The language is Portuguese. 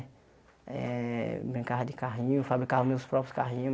Brincava de carrinho, fabricava meus próprios carrinho.